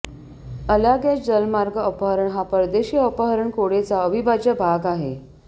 Allagash जलमार्ग अपहरण हा परदेशी अपहरण कोडेचा अविभाज्य भाग आहे